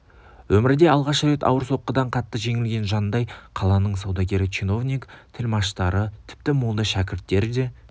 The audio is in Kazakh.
өмірде алғаш рет ауыр соққыдан қатты жеңілген жандай қаланың саудагері чиновник тілмаштары тіпті молда шәкірттері де